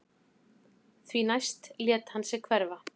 Því næst lét hann sig hverfa